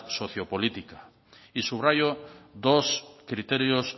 sociopolítica y subrayo dos criterios